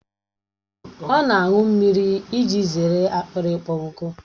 Ọ na aṅụ mmiri iji zere akpịrị ịkpọ nkụ